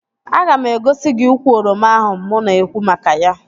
Aga m egosi gị ukwu oroma ahụ mụ na-ekwu maka ya